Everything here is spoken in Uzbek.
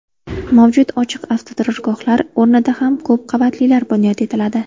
Mavjud ochiq avtoturargohlar o‘rnida ham ko‘p qavatlilari bunyod etiladi.